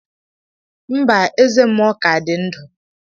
Mba, Eze muo ka di ndu.